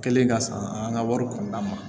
Kɛlen ka san an ka wari kɔnɔna na